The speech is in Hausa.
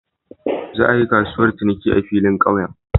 Za a yi kasuwar ciniki a filin kauye.